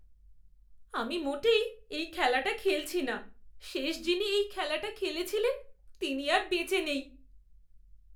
আমি মোটেই এই খেলাটা খেলছি না। শেষ যিনি এই খেলাটা খেলেছিলেন, তিনি আর বেঁচে নেই।